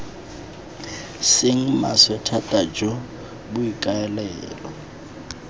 seng maswe thata jo boikaelelo